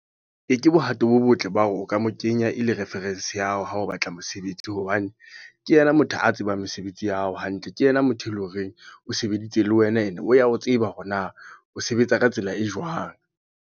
E ke bohato bo botle ba hore o ka mo kenya e le reference ya hao, ha o batla mosebetsi. Hobane, ke yena motho a tsebang mesebetsi ya hao hantle. Ke yena motho e leng horeng o sebeditse le wena, and o ya o tseba hore na o sebetsa ka tsela e jwang.